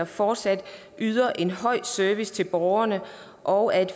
fortsat yder en høj service til borgerne og at